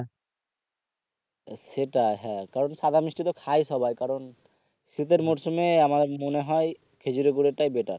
সেটা হ্যাঁ কারণ সাদা মিষ্টি তো খায় সবাই কারন শীতের মৌসুমে আমার মনে হয় খেজুরের গুড়ের টাই better